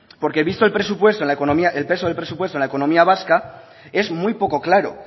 porque visto el peso del presupuesto en la economía vasca es muy poco claro